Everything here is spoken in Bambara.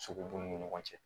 Sogo bun ni ɲɔgɔn cɛ